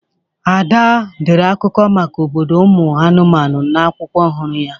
Ada dere akụkọ maka obodo ụmụ anụmanụ n'akwụkwọ ọhụrụ ya.